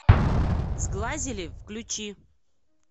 сглазили включи